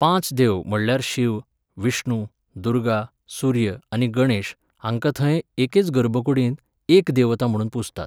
पांच देव म्हणल्यार शिव, विष्णु, दुर्गा, सूर्य आनी गणेश हांकां थंय एकेच गर्भकुडींत एक देवता म्हूण पुजतात.